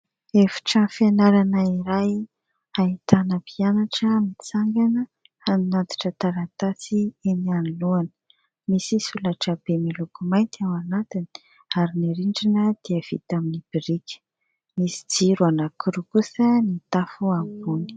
Efitrano fianarana iray ahitana mpianatra mitsangana hanatitra taratasy eny anoloana. Misy solaitrabe miloko mainty ao anatiny ary ny rindrina dia vita amin'ny biriky. Misy jiro anankiroa kosa ny tafo ambony.